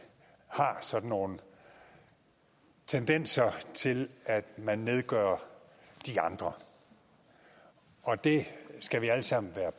har sådan nogle tendenser til at man nedgør de andre og det skal vi alle sammen være